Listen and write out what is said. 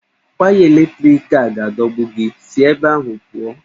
Waya eletriki a ga-adọgbu gị, si ebe ahụ pụọ!